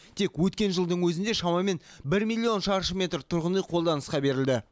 тек өткен жылдың өзінде шамамен бір миллион шаршы метр тұрғын үй қолданысқа берілді